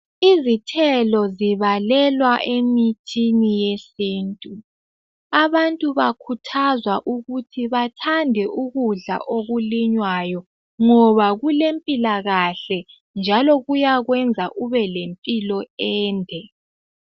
Izithelo zibalelwa emithini yesintu, abantu bakhuthazwa ukuthi bathande ukudla okulinywayo ngoba kulempilakahle njalo kuyakwenza ubelempilo ende